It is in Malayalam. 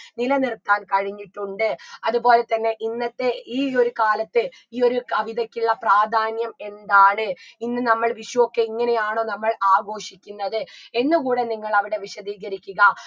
നിലനിർത്താൻ കഴിഞ്ഞിട്ടുണ്ട് അത്പോലെ തന്നെ ഇന്നത്തെ ഈ ഒരു കാലത്ത് ഈ ഒരു കവിതയ്ക്കുള്ള പ്രാധാന്യം എന്താണ് ഇന്ന് നമ്മൾ വിഷുവൊക്കെ ഇങ്ങനെയാണോ നമ്മൾ ആഘോഷിക്കുന്നത് എന്ന് കൂടെ നിങ്ങൾ അവിടെ വിശദീകരിക്കുക